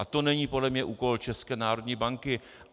A to není podle mě úkol České národní banky.